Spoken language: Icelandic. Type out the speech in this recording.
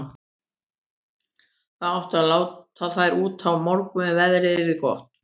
Það átti að láta þær út á morgun ef veðrið yrði gott.